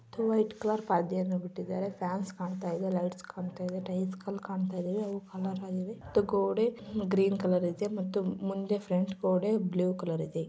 White colour ಪರದೆಯನ್ನು ಬಿಟ್ಟಿದ್ದಾರೆ fans ಕಾಣ್ತಾ ಇದೆ ಲೈಟ್ಸ್ ಕಾಣ್ತಾ ಇದೆ ಟೈಲ್ಸ್ ಕಲರ್ ಕಾಣ್ತಾ ಇದೆ ಅವು ಕಲರ್ ಆಗಿವೆ .ಗೋಡೆ ಗ್ರೀನ್ ಕಲರ್ ಇದೆ ಮತ್ತು ಮುಂದೆ ಫ್ರಂಟ್ ಗೋಡೆ ಬ್ಲೂ ಕಲರ್ ಇದೆ.